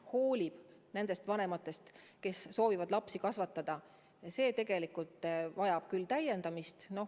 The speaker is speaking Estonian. Riik ju hoolib nendest vanematest, kes soovivad lapsi kasvatada.